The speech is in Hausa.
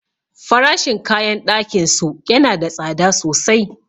Farashin kayan ɗakinsu yana da tsada sosai.